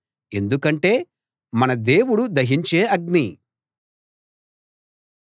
ఎందుకంటే మన దేవుడు దహించే అగ్ని